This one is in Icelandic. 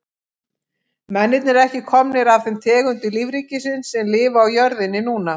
Mennirnir eru ekki komnir af þeim tegundum lífríkisins sem lifa á jörðinni núna.